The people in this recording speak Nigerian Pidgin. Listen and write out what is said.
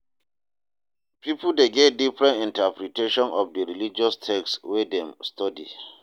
Pipo de get different interpretation of di religious text wey dem study